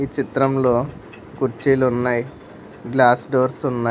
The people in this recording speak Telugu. చిత్రంలో కుర్చీలున్నాయ్ గ్లాస్ డోర్స్ ఉన్నాయ్.